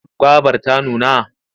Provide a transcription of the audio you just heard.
Gobar ta nuna?